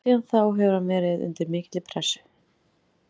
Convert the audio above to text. Síðan þá hefur hann verið undir mikilli pressu.